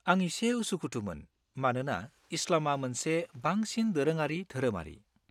आं एसे उसुखुथुमोन, मानोना इस्लामआ मोनसे बांसिन दोरोङारि धोरोमारि।